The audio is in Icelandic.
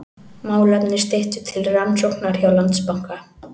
Málefni Styttu til rannsóknar hjá Landsbanka